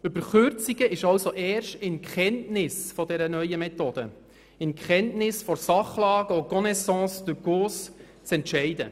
Über Kürzungen ist also erst in Kenntnis der neuen Methode, in Kenntnis der Sachlage und der «en connaisance de cause» zu entscheiden.